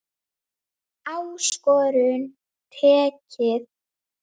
Áskorun tekið.